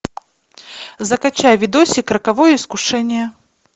закачай видосик роковое искушение